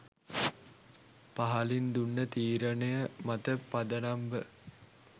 පහලින් දුන්න තීරණය මත පදනම්ව